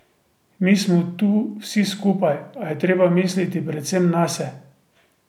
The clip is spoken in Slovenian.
Mi smo tu vsi skupaj, a treba je misliti predvsem nase.